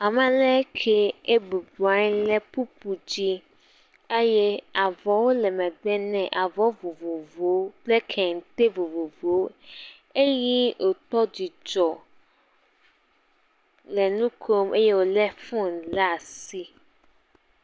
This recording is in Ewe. Ma lɛ ŋke ebublɔ anyi lɛ kpukpo dzi eye avɔwo le megbe nɛ avɔ vovovowokple kente vovovowo eye wòkpɔ dzidzɔ le nu kom eye wòlé fonu le asi.